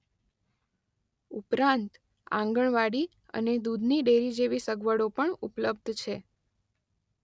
ઉપરાંત આંગણવાડી અને દુધની ડેરી જેવી સગવડો પણ ઉપલબ્ધ છે.